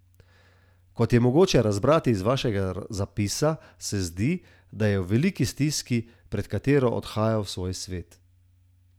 Kot je mogoče razbrati iz vašega zapisa, se zdi, da je v veliki stiski, pred katero odhaja v svoj svet.